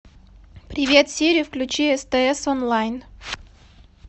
привет сири включи стс онлайн